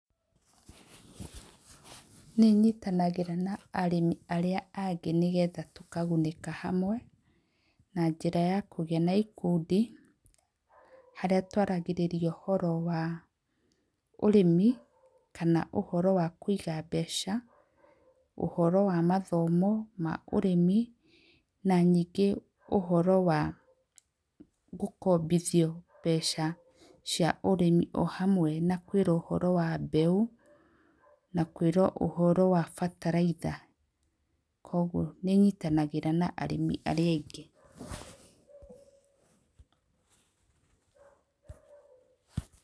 Nĩ nyitanagĩra na arĩmi arĩa angĩ nĩgetha tũkagunĩka hamwe na njĩra ya kũgĩa na ikundi, harĩa twaragĩrĩria ũhoro wa arĩmi kana ũhoro wa kũiga mbeca, ũhoro wa mathomo ma ũrĩmi na ningĩ ũhoro wa gũkombithio mbeca cia ũrĩmi. O hamwe na kwĩrwo ũhoro wa mbeũ na kwĩrwo ũhoro wa bataraitha. Kwoguo nĩ nyitanagĩra na arĩmi arĩa aingĩ.